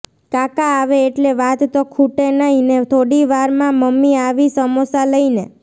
કાકા આવે એટલે વાત તો ખૂટે નઈ ને થોડી વાર માં મમ્મી આવી સમોસા લઈને